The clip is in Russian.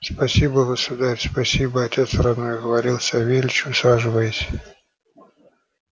спасибо государь спасибо отец родной говорил савельич усаживаясь